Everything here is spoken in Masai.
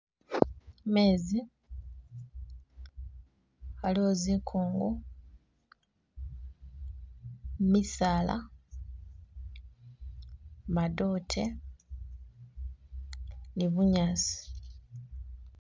Meezi waliwo zikungu misaala madote ni bunyasi.